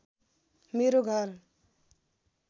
मेरो घर